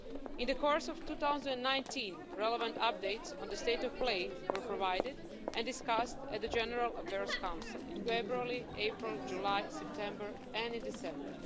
In the course of 2019, relevant updates on the state of play were provided and discussed at the General Affairs Council in February, April, July, September and December.